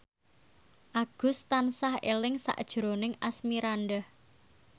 Agus tansah eling sakjroning Asmirandah